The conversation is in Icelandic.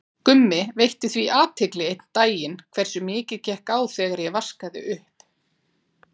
Gummi veitti því athygli einn daginn hversu mikið gekk á þegar ég vaskaði upp.